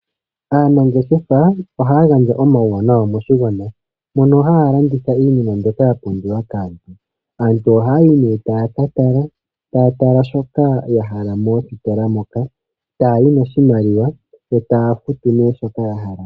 Aanangeshefa ohaa gandja omauwana moshigwana mono haa landitha iinima mbyoka ya pumbiwa kaantu, aantu ohaayi nee taa katala taa tala shoka yahala mositola moka taayi noshimaliwa yo taafutu nee shoka yahala.